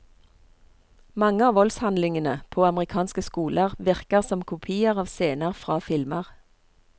Mange av voldshandlingene på amerikanske skoler virker som kopier av scener fra filmer.